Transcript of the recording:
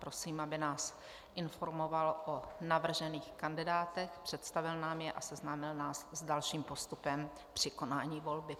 Prosím, aby nás informoval o navržených kandidátech, představil nám je a seznámil nás s dalším postupem při konání volby.